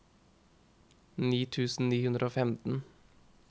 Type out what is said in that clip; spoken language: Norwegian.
ni tusen ni hundre og femten